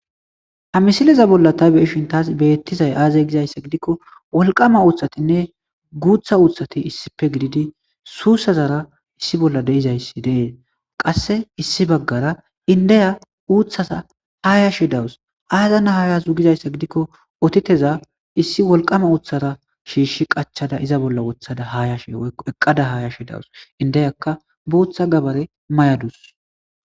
Ha misileza bolla ta be7ishin taas beettizay aaze gizayssa gidikko wolqama uuthatinne guutha uuthati issippe gididi suussazara issi bolla de7izayssi de7ees..qasse issi baggara indiya uuthaza haayashe dawus.aazan haayaze gizayssa gidikko otitezan gita uuthara shiishsha qachada haayashe woykko iza bolla eqqada haayashe dawus.indiyakka guutha gabare mayadus.